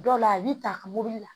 Dɔw la a bi ta mobili la